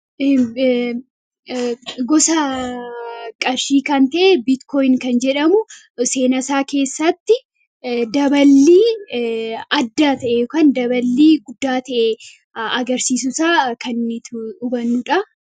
Gosa qarshii kan ta'e Biitkooyin kan jedhamu seenaasaa keessatti daballii adda ta'e yookaan daballii guddaa ta'e agarsiisuu isaa kan nuti hubannu dha.